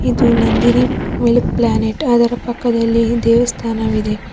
ಇದು Nandini milk planet ಅದರ ಪಕ್ಕದಲ್ಲಿ ದೇವಸ್ಥಾನವಿದೆ.